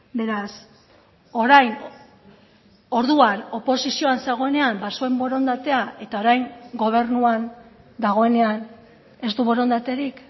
beraz orain orduan oposizioan zegoenean bazuen borondatea eta orain gobernuan dagoenean ez du borondaterik